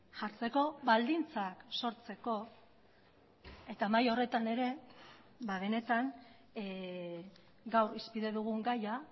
jartzeko baldintzak sortzeko eta mahai horretan ere benetan gaur hizpide dugun gaia